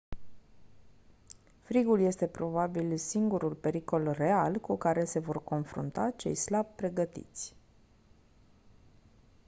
frigul este probabil singurul pericol real cu care se vor confrunta cei slab pregătiți